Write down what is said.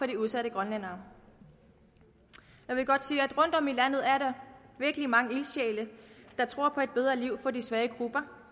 de udsatte grønlændere jeg vil godt sige at rundtom i landet er der virkelig mange ildsjæle der tror på et bedre liv for de svage grupper